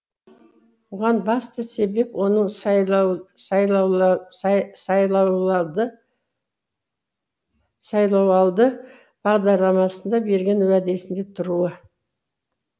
бұған басты себеп оның сайлауалды бағдарламасында берген уәдесінде тұруы